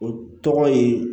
O tɔgɔ ye